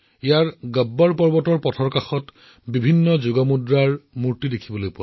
ইয়াত গব্বৰ পৰ্বতলৈ যোৱাৰ পথত আপোনালোকে বিভিন্ন ধৰণৰ যোগাসনৰ ভংগীমা আৰু আসনৰ মূৰ্তি দেখিব